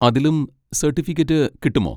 അതിലും സർട്ടിഫിക്കറ്റ് കിട്ടുമോ?